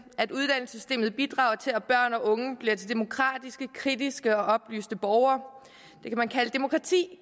at uddannelsessystemet bidrager til at børn og unge bliver til demokratiske kritiske og oplyste borgere det kan man kalde demokrati